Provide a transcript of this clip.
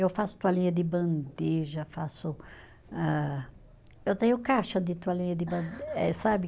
Eu faço toalhinha de bandeja, faço, ah, eu tenho caixa de toalhinha de bande, eh, sabe?